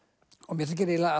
mér þykir eiginlega